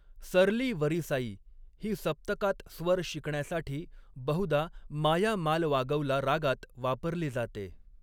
सरली वरीसाई ही सप्तकात स्वर शिकण्यासाठी, बहुधा मायामालवागौला रागात वापरली जाते.